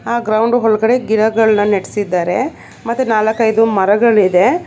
ಆ ಗ್ರೌಂಡ್ ಒಳಗಡೆ ಗಿಡಗಳನ್ನು ನೆಟ್ಸಿದರೆ ಮತ್ತೆ ನಾಲ್ಕೈದು ಮರಗಳಿದೆ.